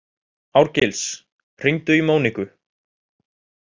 Árgils, hringdu í Móníku.